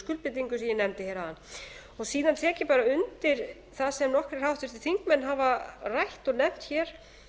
skuldbindingum sem ég nefndi hér áðan síðan tek ég bara undir það sem nokkrir háttvirtir þingmenn haf rætt og nefnt hér